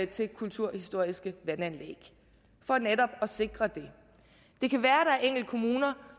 til kulturhistoriske vandanlæg for netop at sikre dem det kan være der er enkelte kommuner